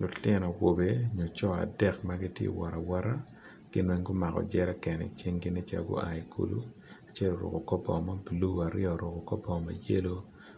Lutino awobe maco dek ma giti kawot awot, gin weng gumako jeken i cingi nen calo gua i kulu, acel oruku kor bongo ma bulu, aryo oruku kor bongo mayelo,